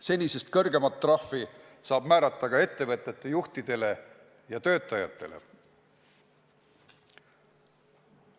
Senisest kõrgemat trahvi saab määrata ka ettevõtete juhtidele ja töötajatele.